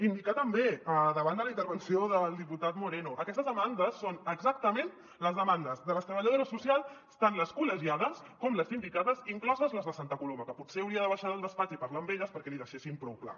indicar també davant de la intervenció del diputat moreno aquestes demandes són exactament les demandes de les treballadores socials tant les col·legiades com les sindicades incloses les de santa coloma que potser hauria de baixar del despatx i parlar amb elles perquè l’hi deixessin prou clar